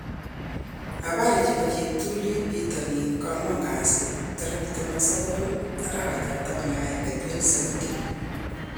Habari chebo cheptulit bitonin koangwan kasi 29.11.2017